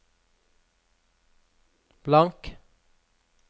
blank